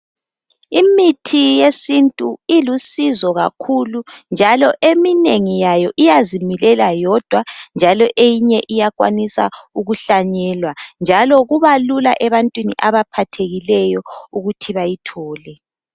Imithi yesintu ilusizo kakhulu njalo eminengi yayo iyazimilela yodwa njalo eyinye iyakwanisa ukuhlanyelwa njalo kuba lula ebantwini abaphathekileyo ukuthi bayithole.